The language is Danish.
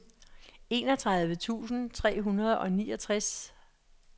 enogtredive tusind tre hundrede og niogtres